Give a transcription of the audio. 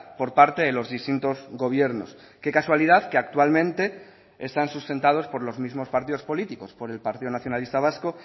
por parte de los distintos gobiernos qué casualidad que actualmente están sustentados por los mismos partidos políticos por el partido nacionalista vasco